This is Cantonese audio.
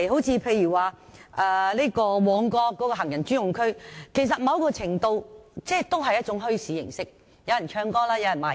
此外，以旺角行人專用區為例，該處某程度上也屬於墟市，有人唱歌、擺賣。